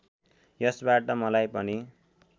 यसबाट मलाई पनि